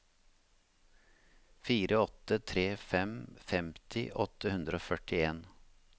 fire åtte tre fem femti åtte hundre og førtien